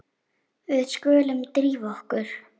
Við skulum drífa okkur.